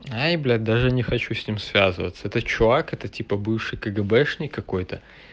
ай блять даже не хочу с ним связываться этот чувак это типа бывший кгбшник какой-то